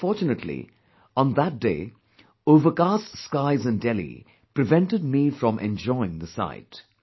But unfortunately, on that day overcast skies in Delhi prevented me from enjoying the sight